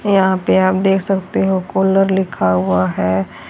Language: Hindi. यहां पे आप देख सकते हो कूलर लिखा हुआ है।